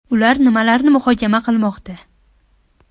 Ular nimalarni muhokama qilmoqda?